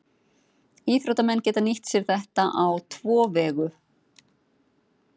Íþróttamenn geta nýtt sér þetta á tvo vegu.